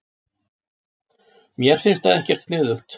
Mér finnst það ekkert sniðugt.